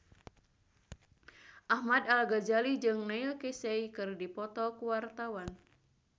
Ahmad Al-Ghazali jeung Neil Casey keur dipoto ku wartawan